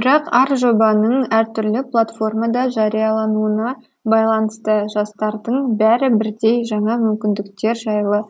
бірақ әр жобаның әртүрлі платформада жариялануына байланысты жастардың бәрі бірдей жаңа мүмкіндіктер жайлы